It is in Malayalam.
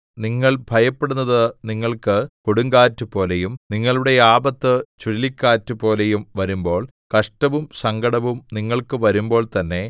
നിങ്ങൾ ഭയപ്പെടുന്നത് നിങ്ങൾക്ക് കൊടുങ്കാറ്റുപോലെയും നിങ്ങളുടെ ആപത്ത് ചുഴലിക്കാറ്റുപോലെയും വരുമ്പോൾ കഷ്ടവും സങ്കടവും നിങ്ങൾക്ക് വരുമ്പോൾ തന്നേ